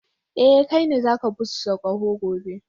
Eh, kai ne za ka busa kaho gobe.